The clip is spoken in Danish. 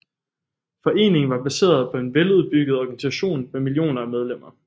Foreningen var baseret på en veludbygget organisation med millioner af medlemmer